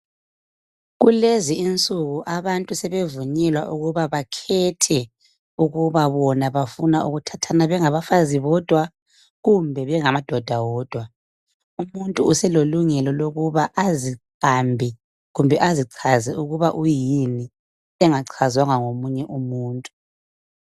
kulezi insuku abantu sebevunyelwa ukuba bakhethe ukuba bona bafuna ukuthathana bengabafazi bodwa kumbe bengamadoda wodwa umuntu uselelungelo lokuba aziqambe kumbe azichaze ukuba uyini engachazwanga ngomunye umuntu